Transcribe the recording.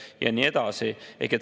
Ja nii edasi.